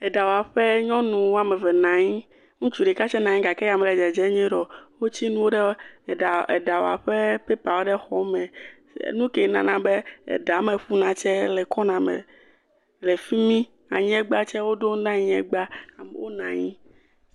Le ɖawɔƒɔ, nyɔnuvi woame eve nɔ anyi. Ŋutsu ɖeka tsɛ hã nɔ anyi gake mele dzedzem nyuie ɖe o. Wotsi nuwo ɖe ɖɔwɔƒe de dɔwɔƒɛ pepawo ɖe xɔa me. Nu kɛ nana be ɖa me ƒuna tsɛ le kɔna me le fi mi. Aŋegba tsɛ woɖo nu na aŋegba. Wonɔ anyi.